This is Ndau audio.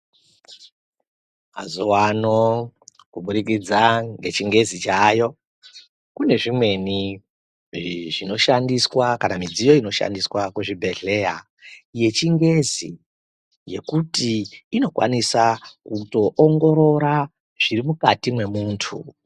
Mazuwano kuburikidza ngechingezi chaayo kune zvimweni zvinoshandiswa kana midziyo inoshandiswa kuzvibhehleya yechingezi yekuti inokwanisa kutoongorora zviri mukati mwemuntu.